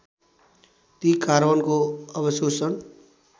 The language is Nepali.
ती कार्बनको अवशोषण